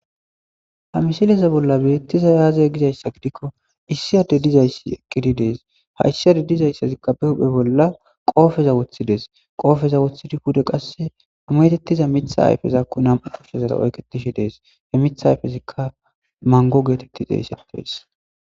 Ha misileza bolla betizay aze gizaysa gidikko issi Adey dizaysi eqidi des issi ades dizaysika be huhpen qope wothides pude qase metetiza mithazako nam'u kusheza izara oyketishe des mitha ayfezika mango getetes